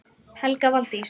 Helga Valdís.